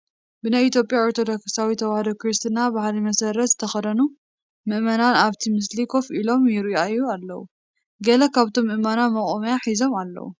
ብናይ ኢትዮጵያ ኦርቶዶክሳዊ ተዋህዶ ክርስትና ባህሊ መሰረት ዝተኸደኑ ምእመናን ኣብቲ ምስሊ ኮፍ ኢሎም ይርአዩ ኣለዉ፡፡ ገለ ካብቶም ምእመናን መቖሚያ ሂዞም ኣለዉ፡፡